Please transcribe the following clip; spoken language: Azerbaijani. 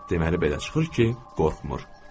Deməli belə çıxır ki, qorxmur.